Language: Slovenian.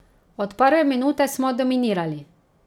Od prve minute smo dominirali.